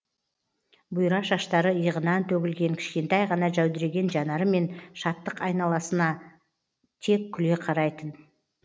бұйра шаштары иығынан төгілген кішкентай ғана жәудіреген жанарымен шаттық айналасына тек күле қарайтын